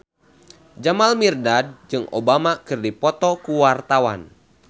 Jamal Mirdad jeung Obama keur dipoto ku wartawan